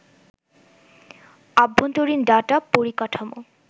আভ্যন্তরীন data পরিকাঠামো